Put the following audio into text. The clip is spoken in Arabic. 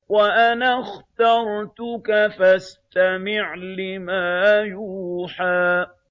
وَأَنَا اخْتَرْتُكَ فَاسْتَمِعْ لِمَا يُوحَىٰ